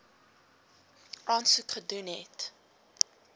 aansoek gedoen het